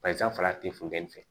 Bayanfa tɛ funteni fɛ